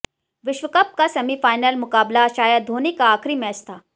विश्व कप का सेमीफाइनल मुकाबला शायद धोनी का आखिरी मैच था